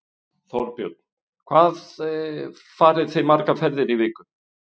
Þorbjörn: Hvað farið þið margar ferðir í viku?